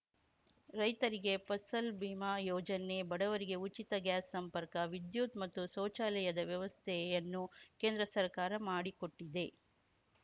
ರೈತರಿಗೆ ಫಸಲ್‌ ಬಿಮಾ ಯೋಜನೆ ಬಡವರಿಗೆ ಉಚಿತ ಗ್ಯಾಸ್‌ ಸಂಪರ್ಕ ವಿದ್ಯುತ್‌ ಮತ್ತು ಶೌಚಾಲಯದ ವ್ಯವಸ್ಥೆಯನ್ನು ಕೇಂದ್ರ ಸರ್ಕಾರ ಮಾಡಿಕೊಟ್ಟಿದೆ